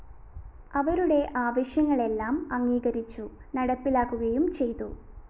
അവരുടെ ആവശ്യങ്ങളെല്ലാം അംഗീകരിച്ചു നടപ്പിലാക്കുകയും ചെയ്തു